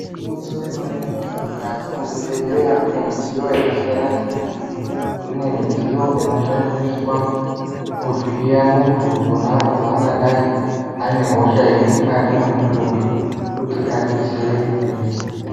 Igwinyiso re mene mene mukati me zvibhedhleya mune midziyo yaka siyana siyana kune midziyo inoshandiswa kuvhiya muntu ponapo pa angadai ane hosha iri mukati me mudumbi kuti adetsereke.